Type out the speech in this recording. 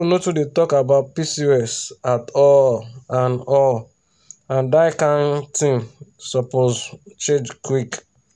school no too dey talk about pcos at all and all and that kain um thing suppose um change quick.